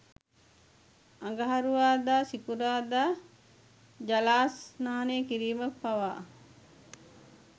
අඟහරුවාදා, සිකුරාදා ජලස්නානය කිරීම පවා